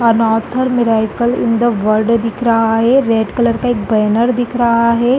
Another miracle in the world दिख रह है रेड कलर का एक बैनर दिख रहा है।